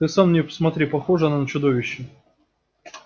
ты сам на неё посмотри похожа она на чудовище